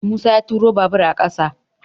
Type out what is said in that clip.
Musa ya turo babur a ƙasa